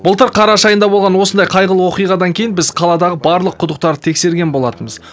былтыр қараша айында болған осындай қайғылы оқиғадан кейін біз қаладағы барлық құдықтарды тексерген болатынбыз